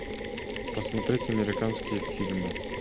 просмотреть американские фильмы